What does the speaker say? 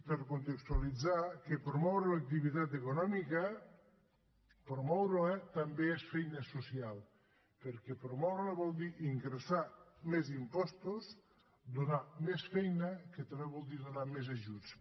per contextualitzar que promoure l’activitat econòmica promoure la també és feina social perquè promoure la vol dir ingressar més impostos donar més feina que també vol dir donar més ajuts